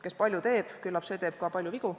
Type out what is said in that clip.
Kes palju teeb, küllap see teeb ka palju vigu.